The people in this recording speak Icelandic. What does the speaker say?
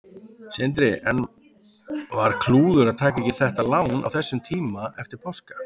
Sindri: En var klúður að taka ekki þetta lán á þessum tíma eftir páska?